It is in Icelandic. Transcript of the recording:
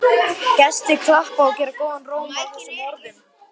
Gestir klappa og gera góðan róm að þessum orðum.